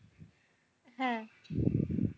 হ্যাঁ।